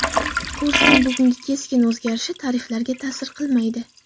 Kursning bugungi keskin o‘zgarishi tariflarga ta’sir qilmaydi.